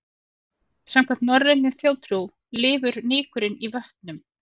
Samkvæmt norrænni þjóðtrú lifur nykurinn í vötnum.